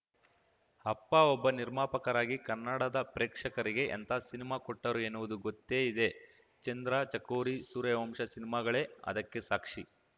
ಅಪ್ಪ ಒಬ್ಬ ನಿರ್ಮಾಪಕರಾಗಿ ಕನ್ನಡದ ಪ್ರೇಕ್ಷಕರಿಗೆ ಎಂಥ ಸಿನಿಮಾ ಕೊಟ್ಟರು ಎನ್ನುವುದು ಗೊತ್ತೆ ಇದೆ ಚಂದ್ರ ಚಕೋರಿ ಸೂರ್ಯವಂಶ ಸಿನಿಮಾಗಳೇ ಅದಕ್ಕೆ ಸಾಕ್ಷಿ